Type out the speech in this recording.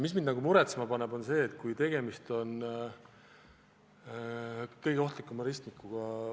Mis mind muretsema paneb, on see, et tegemist on vabariigi kõige ohtlikuma ristmikuga.